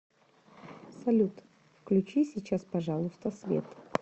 салют включи сейчас пожалуйста свет